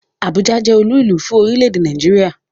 Abuja jẹ́ olúùlú fún orílẹ̀-èdè Nàìjíríà